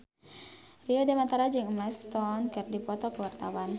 Rio Dewanto jeung Emma Stone keur dipoto ku wartawan